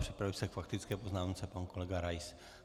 Připraví se k faktické poznámce pan kolega Rais.